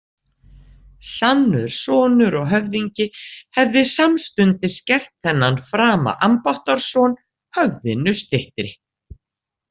Sannur sonur og höfðingi hefði samstundis gert þennan frama ambáttarson höfðinu styttri.